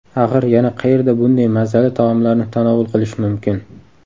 Axir yana qayerda bunday mazali taomlarni tanovul qilish mumkin?